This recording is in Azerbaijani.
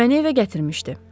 Məni evə gətirmişdi.